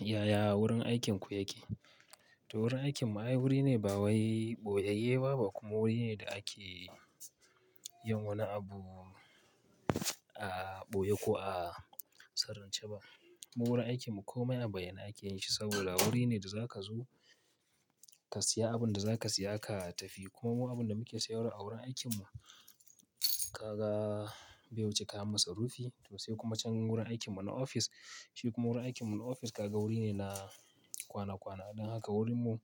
Yaya wurin aikinku yake? To wurin aikinmu ai wuri ne ba wai ɓoyayyeba ba kuma wuri ne da ake yin wani abu a ɓoye ko a sirrince ba. Mu wurin aikinmu komai an bayyana ake yin shi saboda wuri ne da za ka zo ka siya abunda za ka siya ka tafi. Kuma mu abunda muke sayarwa a wurin aikinmu, ka ga bai wuce kayan masarufi toh sai kuma can wurin aikinmu na ofis. Shi kuma wurin aikinmu na ofis kaga wuri ne na kwana kwana. Don haka wurinmu